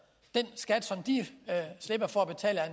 den skat som de slipper for at betale er